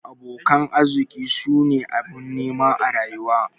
Abokan arziki su ne abin nema a rayuwa.